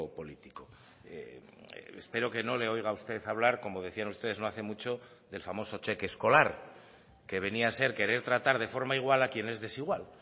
político espero que no le oiga a usted hablar como decían ustedes no hace mucho del famoso cheque escolar que venía a ser querer tratar de forma igual a quien es desigual